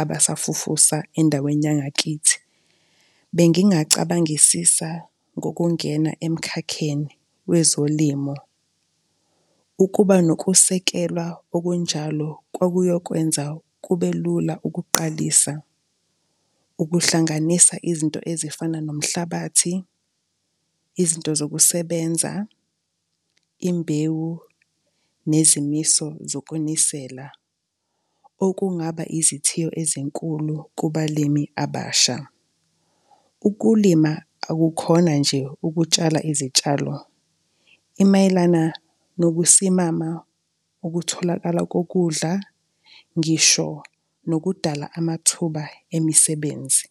abasafufusa endaweni yangakithi, bengingacabangisisa ngokungena emkhakheni wezolimo. Ukuba nokusekelwa okunjalo kwakuyokwenza kube lula ukuqalisa ukuhlanganisa izinto ezifana nomhlabathi, izinto zokusebenza, imbewu nezimiso zokunisela, okungaba izithiyo ezinkulu kubalimi abasha. Ukulima akukhona nje ukutshala izitshalo, imayelana nokusimama, ukutholakala kokudla, ngisho nokudala amathuba emisebenzi.